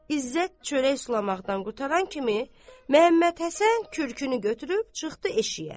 İzzət çörək sulamaqdan qurtaran kimi, Məhəmməd Həsən kürkünü götürüb çıxdı eşiyə.